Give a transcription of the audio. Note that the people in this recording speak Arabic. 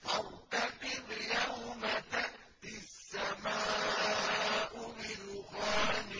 فَارْتَقِبْ يَوْمَ تَأْتِي السَّمَاءُ بِدُخَانٍ